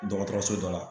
Dɔgɔtɔrɔso dɔ la